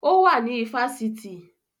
Ó wà ní ifásitì